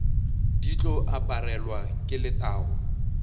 di tlo aparelwa ke letago